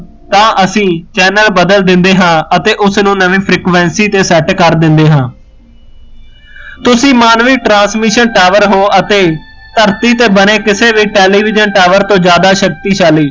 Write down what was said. ਤਾਂ ਅਸੀਂ ਚੈਨਲ ਬਦਲ ਦਿੰਦੇ ਹਾਂ ਅਤੇ ਉਸਨੂੰ ਨਵੀ frequency ਤੇ ਸੈੱਟ ਕਰ ਦਿੰਦੇ ਹਾਂ ਤੁਸੀ ਮਾਨਵੀ transmission tower ਹੋ ਅਤੇ ਧਰਤੀ ਤੇ ਬਣੇ ਕਿਸੇ ਵੀ television tower ਤੋਂ ਜ਼ਿਆਦਾ ਸ਼ਕਤੀਸ਼ਾਲੀ